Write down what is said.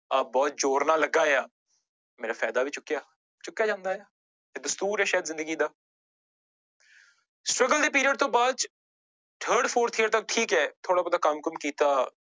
ਆਹ ਬਹੁਤ ਜ਼ੋਰ ਨਾਲ ਲੱਗਾ ਆ ਮੇਰਾ ਫ਼ਾਇਦਾ ਵੀ ਚੁੱਕਿਆ, ਚੁੱਕਿਆ ਜਾਂਦਾ ਹੈ ਇਹ ਦਸਤੂਰ ਹੈ ਸ਼ਾਇਦ ਜ਼ਿੰਦਗੀ ਦਾ struggle ਦੇ period ਤੋਂ ਬਾਅਦ ਚ third fourth year ਤੱਕ ਠੀਕ ਹੈ ਥੋੜ੍ਹਾ ਬਹੁਤਾ ਕੰਮ ਕੁੰਮ ਕੀਤਾ।